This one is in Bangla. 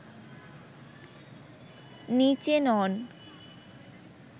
নিচে নন